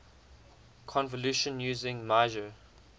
convolution using meijer